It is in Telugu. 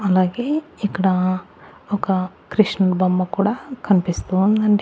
అలాగే ఇక్కడ ఒక కృష్ణుని బొమ్మ కూడా కనిపిస్తూ ఉందండి.